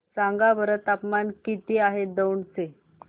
सांगा बरं तापमान किती आहे दौंड चे